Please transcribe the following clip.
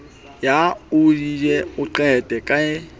ya ayodine e qetwa ke